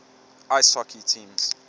ice hockey teams